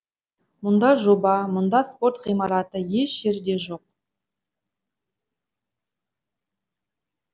мұндай жоба мұндай спорт ғимараты еш жерде жоқ